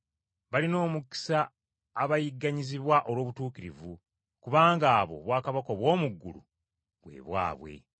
Balina omukisa abayigganyizibwa olw’obutuukirivu, kubanga abo obwakabaka obw’omu ggulu bwe bwabwe.”